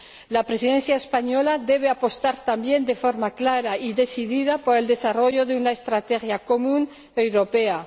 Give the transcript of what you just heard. La Presidencia española debe apostar también de forma clara y decidida por el desarrollo de una estrategia común europea